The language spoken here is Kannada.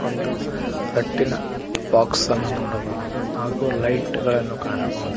ಒಂದು ರಟ್ಟಿನ ಬಾಕ್ಸ್ ಅನ್ನು ನೋಡಬಹುದು ಹಾಗೂ ಲೈಟ್ ಗಳನ್ನು ಕಾಣಬಹುದು.